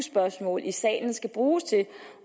spørgsmål i salen skal bruges til